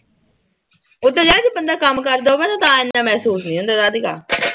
ਉਹ ਤਾਂ ਯਰ ਜੇ ਬੰਦਾ ਕੰਮ ਕਰਦਾ ਹੋਵੇ ਨਾ ਤਾਂ ਮੈਂ ਇੰਨਾ ਸੋਚਦੀ ਆਂ ਰਾਧਿਕਾ